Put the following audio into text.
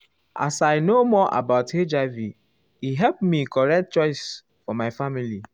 as i know more about hiv e help me make correct choice for my family.